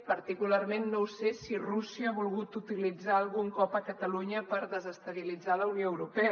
particularment no ho sé si rússia ha volgut utilitzar algun cop catalunya per desestabilitzar la unió europea